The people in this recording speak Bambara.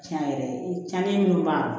Tiɲɛ yɛrɛ tiɲɛnen min b'a